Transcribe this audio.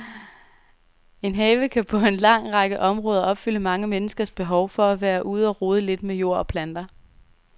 En have kan på en lang række områder opfylde mange menneskers behov for at være ude og rode lidt med jord og planter.